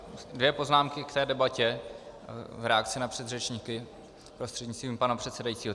Dvě poznámky k té debatě v reakci na předřečníky prostřednictvím pana předsedajícího.